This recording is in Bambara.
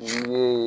Ne ye